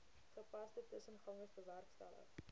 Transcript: gepaste tussengangers bewerkstellig